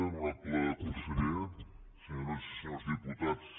honorable conseller senyores i senyors diputats